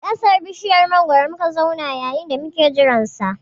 A ƙasan bishiyar mangwaro muka zauna yayin da muke jiran sa